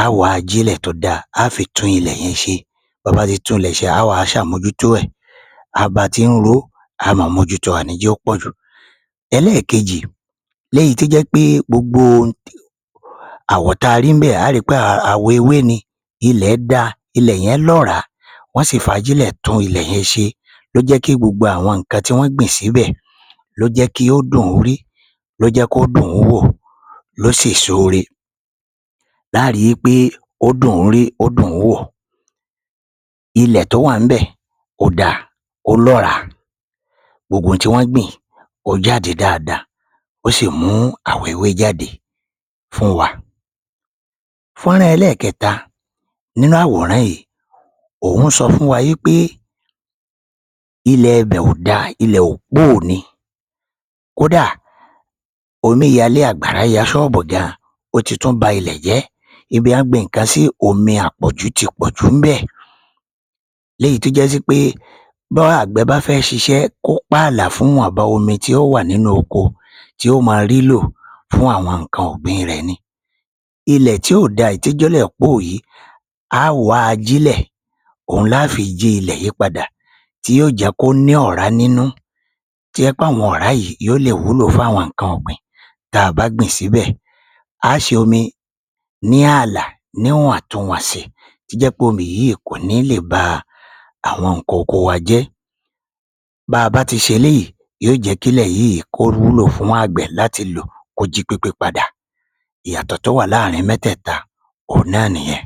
a óò wá ajílẹ̀ tó dáa a á fi tún ilẹ̀ yẹn ṣe ta bá ti tún ilẹ̀ yẹn ṣe,a óò wá ṣàmójúto ẹ ba bá ti ń ro ó a óò máa mójúto, a ò ní jẹ́ kí ó pọ̀jù. Eléèkejì, léyìí tó jẹ́ wí pé gbogbo ohun ta rí níbẹ̀ a óò ri wí pé àwọ̀ ewé ni ilẹ̀ dáa ilẹ̀ yẹn lọ́ràá wọ́n sì fi ajílẹ̀ tún ilẹ̀ yẹn ṣe ló jẹ́ kí gbogbo àwọn nǹkan tán gbìn síbẹ̀ ló jẹ́ kí wọ́n dùn - ún rí ló jẹ́ kí wọ́n dùn- ún wò ló sèso ire a óò rí i pé ó dùn - ún rí ó dùn- ún wò, ilẹ̀ tó wà níbẹ̀ ó dáa ó lọ́ràá wọ́n gbìn ó jáde dáadáa wọ́n sì mú àwọn ewé jáde fún wa. Fọ́nrán ẹlẹ́ẹ̀kẹta, òhun sọ fún wa wí pé ilẹ̀ ibẹ̀ ò da òpóò ni kódà, omíyalé àgbàrá ya ṣọ́ọ̀bù gan-an ó ti tún ba ilẹ̀ jẹ́, ibi wọ́n gbin nǹkan sí omi àpọ̀jù ti pọ̀jù níbẹ̀ léyìí tí ó jásí wí pé báàgbẹ̀ bá fẹ́ ṣiṣẹ́ kó páàlà fún ọ̀dọ̀ omi tí ó wà nínú oko tí yóò mọ rí lò fún nǹkan àgbẹ̀ rẹ̀ ni, ilẹ̀ tí kò da tí ó jẹ́ ilẹ̀ póò yìí a á wá ajílẹ̀ ohun la á fi yí ilẹ̀ yìí padà òhun ni yóò jẹ kí ó ní ọ̀rá nínú tó jẹ́ pé àwọn ọ̀rá yìí yó lè wúlò fún àwọn nǹkan ọ̀gbìn ta bá gbìn síbẹ̀,a óò ṣe omi ní ààlà níwọ̀n tun wọ̀nsì tó jẹ́ pé omi yìí kò ní lè ba àwọn nǹkan oko wa jẹ́, ba bawti ṣe eléyìí yóò jẹ́ kí ilẹ̀ yìí kó wúlò fún àgbẹ̀ kó jí pépé padà, ìyàtọ̀ tó wà láàárín mẹ́tẹ́ẹ̀ta òhun náà nìyẹn